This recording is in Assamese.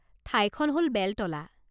ঠাইখন হ'ল বেলতলা।